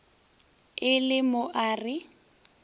le le mo a re